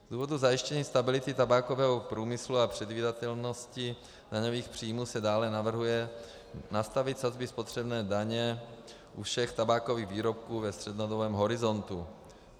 Z důvodu zajištění stability tabákového průmyslu a předvídatelnosti daňových příjmů se dále navrhuje nastavit sazby spotřební daně u všech tabákových výrobků ve střednědobém horizontu.